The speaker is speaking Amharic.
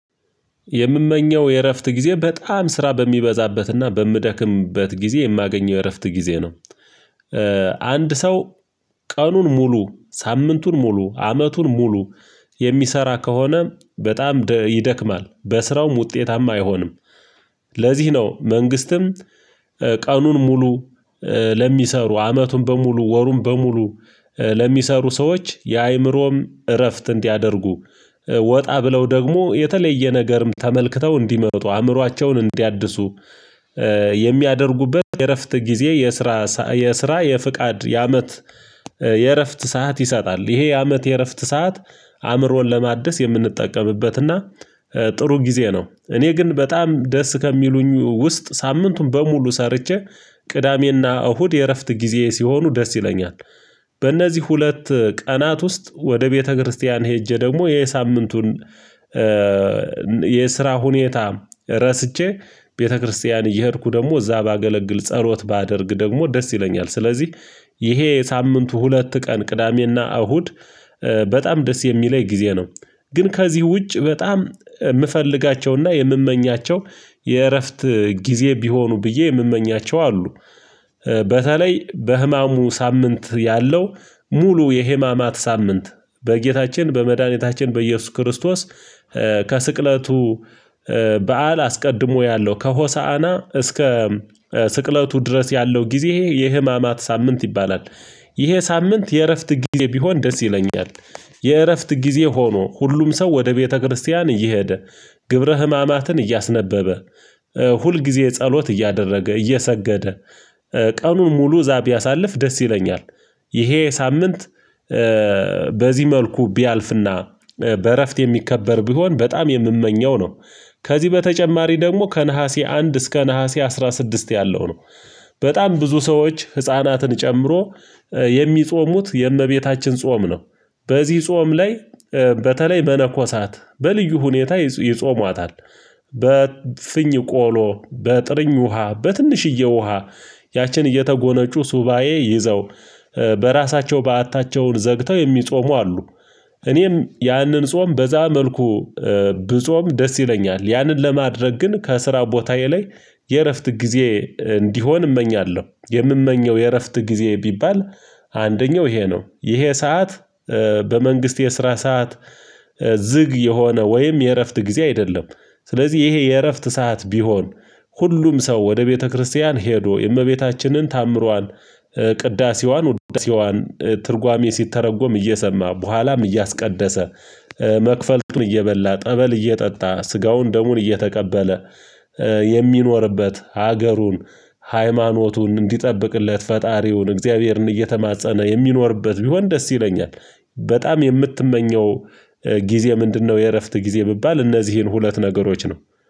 የምመኘው የእረፍት ጊዜ በጣም ስራ በሚበዛበትና በምደክምበት ጊዜ የማገኘው የእረፍት ጊዜ ነው። አንድ ሰው ቀኑን ሙሉ ሳምንቱን ሙሉ አመቱን ሙሉ የሚሰራ ከሆነ በጣም ይደክማል በስራውም ውጤታማ አይሆንም። ለዚህ ነው መንግስትም ቀኑን ሙሉ ለሚሰሩ አመቱን በሙሉ ወሩን በሙሉ ለሚሰሩ ሰዎች የአእምሮም እረፍት እንዲያደርጉ ወጣ ብለው ደግሞ የተለየ ነገርም ተመልክተው እንዲመጡ አእምሯቸውን እንዲያድሱ የሚያደርጉበት የእረፍት ጊዜ የስራ የስራ የፍቃድ የአመት የእረፍት ሰዓት ይሰጣል ይሄ የአመት የእረፍት ሰዓት። አእምሮን ለማደስ የምንጠቀምበትና ጥሩ ጊዜ ነው እኔ ግን በጣም ደስ ከሚሉኝ ውስጥ ሳምንቱን በሙሉ ሰርቼ ቅዳሜና እሁድ የእረፍት ጊዜ ሲሆኑ ደስ ይለኛል። በእነዚህ ሁለት ቀናት ውስጥ ወደ ቤተክርስቲያን ሄጄ ደግሞ የሳምንቱን የስራ ሁኔታ ረስቼ ቤተክርስቲያን እየሄድኩ ደግሞ እዛ ባገለግል ጸሎት ባደርግ ደግሞ ደስ ይለኛል ስለዚህ ይሄ ሳምንቱ ሁለት ቀን ቅዳሜና እሁድ በጣም ደስ የሚለኝ ጊዜ ነው። ግን ከዚህ ውጭ በጣም የምፈልጋቸውና የምመኛቸው የእረፍት ጊዜ ቢሆኑ ብዬ የምመኛቸው አሉ በተለይ በህማሙ ሳምንት ያለው ሙሉ የህማማት ሳምንት በጌታችን በመድኃኒታችን በኢየሱስ ክርስቶስ ከስቅለቱ በዓል አስቀድሞ ያለው ከሆሳዕና እስከ ስቅለቱ ድረስ ያለው ጊዜ የህማማት ሳምንት ይባላል። ይሄ ሳምንት የእረፍት ጊዜ ቢሆን ደስ ይለኛል። የእረፍት ጊዜ ሆኖ ሁሉም ሰው ወደ ቤተክርስቲያን እየሄደ ግብረ ህማማትን እያስነበበ ሁል ጊዜ ጸሎት እያደረገ እየሰገደ ቀኑን ሙሉ እዛ ቢያሳልፍ ደስ ይለኛል። ይሄ ሳምንት በዚህ መልኩ ቢያልፍና በእረፍት የሚከበር ቢሆን በጣም የምመኘው ነው። ከዚህ በተጨማሪ ደግሞ ከነሐሴ አንድ እስከ ነሀሴ አስራ ስድስት ያለው ነው በጣም ብዙ ሰዎች ህፃናትን ጨምሮ የሚጾሙት የእመቤታችን ጾም ነው። በዚህ ጾም ላይ በተለይ መነኮሳት በልዩ ሁኔታ ይጾሟታል በፍኝ ቆሎ በጥሪኝ ውሃ በትንሽዬ ውሃ ያችን እየተጎነጩ ሱባኤ ይዘው በራሳቸው በዓታቸውን ዘግተው የሚጾሙ አሉ። እኔም ያንን ጾም በዛ መልኩ ብጾም ደስ ይለኛል። ያንን ለማድረግ ግን ከስራ ቦታዬ ላይ የእረፍት ጊዜ እንዲሆን እመኛለሁ። የምመኘው የእረፍት ጊዜ ቢባል አንደኛው ይሄ ነው ይሄ ሰዓት በመንግስት የስራ ሰዓት ዝግ የሆነ ወይም የእረፍት ጊዜ አይደለም። ስለዚህ ይሄ የእረፍት ሰዓት ቢሆን ሁሉም ሰው ወደ ቤተክርስቲያን ሄዶ የእመቤታችንን ተአምሯን ቅዳሴዋን ትርጓሜ ሲተረጎም እየሰማ በኋላም እያስቀደሰ መክፈልትም እየበላ ጠበል እየጠጣ ስጋውን ደሙን እየተቀበለ የሚኖርበት ሀገሩን ሃይማኖቱን እንዲጠብቅለት ፈጣሪውን እግዚአብሔርን እየተማፀነ የሚኖርበት ቢሆን ደስ ይለኛል። በጣም የምትመኘው ጊዜ ምንድነው? የእረፍት ጊዜ የሚባል እነዚህን ሁለት ነገሮች ነው